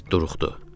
İt duruxdu.